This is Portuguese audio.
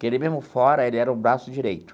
Que ele mesmo fora, ele era o braço direito.